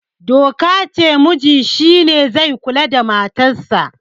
doka ce muji shi ne zai kula da matarsa